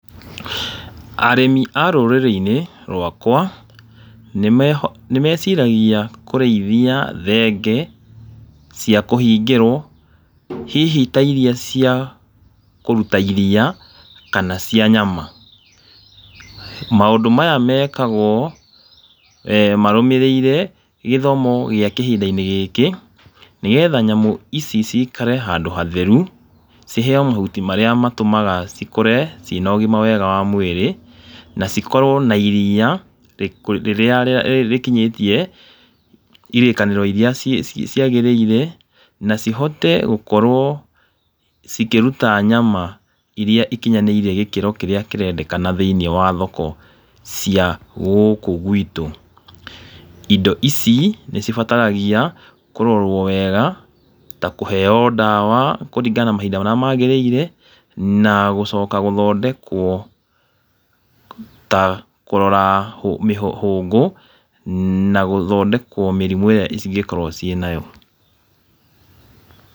Arĩmi a rũrĩrĩ-inĩ rwakwa, nĩmeho nĩmeciragia kũrĩithia thenge cia kũhingĩrwo, hihi ta iria cia kũruta iria kana cia nyama. Maũndũ maya mekagwo eeh marũmĩrĩire gĩthomo gĩa kĩhinda-inĩ gĩkĩ, nĩgetha nyamũ ici cikare handũ hatheru ciheyo mahuti marĩa matũmaga ikũre ciĩna ũgima mwega wa mwĩrĩ, na cikorwo na iria rĩrĩa rĩkinyĩtie irĩkanĩro iria ciagĩrĩire, na cihote gũkorwo cĩkĩruta nyama iria ikinyanĩirie gĩkĩro kĩrĩa kĩrendekana thĩiniĩ wa thoko cia gũkũ gwitũ. Indo ici nĩcibataragia kũrorwo wega, ta kũheyo ndawa kũringana na mahinda marĩa magĩrĩire, na gũcoka gũthondekwo ta kũrora hũngũ, na gũthondekwo mĩrimũ ĩrĩa cingĩkorwo ciĩ nayo.